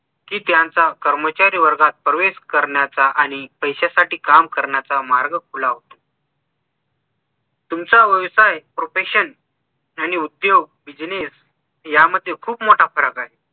कि त्यांचा कर्मचारी वर्गात प्रवेश करण्याचा आणि पैशासाठी काम करण्याचा मार्ग खुला होतो तुमचा व्यवसाय profession आणि उद्योग business यामध्ये खूप मोट फरक आहे